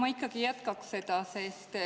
Ma ikkagi jätkaks seda.